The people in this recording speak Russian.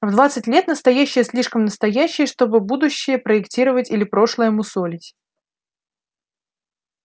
в двадцать лет настоящее слишком настоящее чтобы будущее проектировать или прошлое мусолить